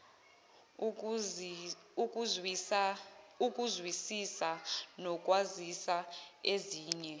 ukuzwisisa nokwazisa ezinye